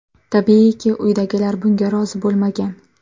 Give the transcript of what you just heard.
Tabiiyki, uydagilar bunga rozi bo‘lmagan.